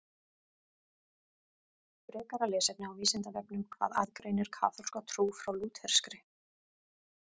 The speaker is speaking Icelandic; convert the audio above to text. Frekara lesefni á Vísindavefnum Hvað aðgreinir kaþólska trú frá lúterskri?